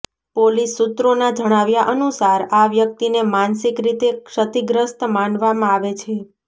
police સૂત્રોના જણાવ્યા અનુસાર આ વ્યક્તિને માનસિક રીતે ક્ષતિગ્રસ્ત માનવામાં આવે છે